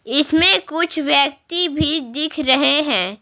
इसमें कुछ व्यक्ति भी दिख रहे हैं।